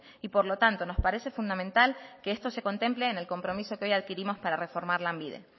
y por lo tanto nos parece fundamental que esto se contemple en el compromiso que hoy adquirimos para reformar lanbide